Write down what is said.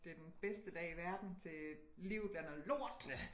Den bedste dag i verden til livet er noget lort!